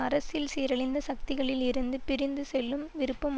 அரசியல் சீரழிந்த சக்திகளில் இருந்து பிரிந்து செல்லும் விருப்பம்